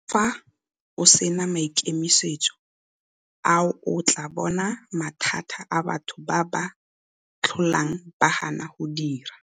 Fa o se na maikemisetso a o tla bona mathata a batho ba ba tlholang ba gana go dira.